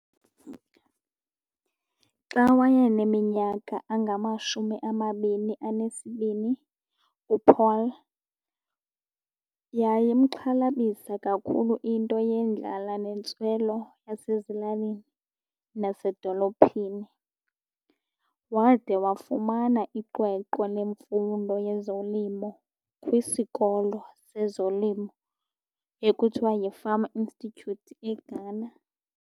Xa wayeneminyaka engamashumi amabini enesibini uPaul yayimxhalabisa kakhulu into yendlala nentswelo yasezilalini nasedolophini. Wade wafumana iqweqwe lemfundo yezolimo kwisikolo sezolimo ekuthiwa yiFarm Institute eGhana.